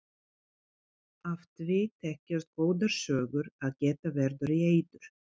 Af því þekkjast góðar sögur að geta verður í eyður.